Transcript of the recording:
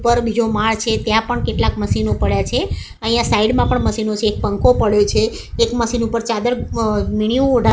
પર બીજો માડ છે ત્યાં પણ કેટલાક મશીનો પડ્યા છે અહિયા સાઇડ મા પણ મશીનો છે એક પંખો પડ્યો છે એક મશીન ઉપર ચાદર અ ઓઢા--